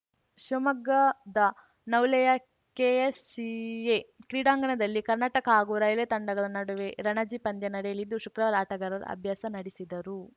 ಶಿವಮೊಗ್ಗದ ನವುಲೆಯ ಕೆಎಸ್‌ಸಿಎ ಕ್ರೀಡಾಂಗಣದಲ್ಲಿ ಕರ್ನಾಟಕ ಹಾಗೂ ರೈಲ್ವೆ ತಂಡಗಳ ನಡುವೆ ರಣಜಿ ಪಂದ್ಯ ನಡೆಯಲಿದ್ದು ಶುಕ್ರವಾರ ಆಟಗಾರರು ಅಭ್ಯಾಸ ನಡೆಸಿದರು